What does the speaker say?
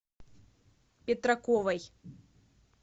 петраковой